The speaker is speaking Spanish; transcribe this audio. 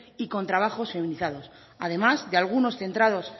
y con trabajos feminizados además de algunos centrados